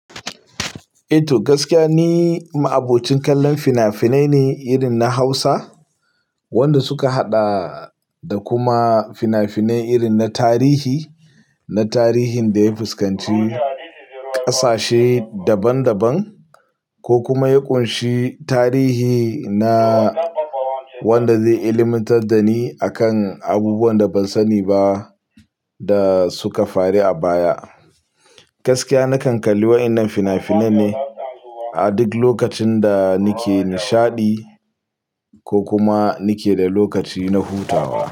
Eto, gaskiya ni ma'abocin kallon fina-finai ne irin na Hausa, wanda suka haɗa da kuma fina-finai irin na tarihi, na tarihin da ya fuskanci ƙasashe daban-daban, ko kuma ya ƙunshi tarihi na wanda zai ilmantar da ni akan abubuwan da ban sani ba. Da suka faru a baya. Gaskiya na kan kalli wayannan fina-finan ne. A duk lokacin da nake nishaɗi ko kuma nake da lokaci na hutawa.